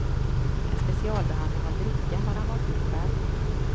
En specialblandning av dricka har han valt ut själv.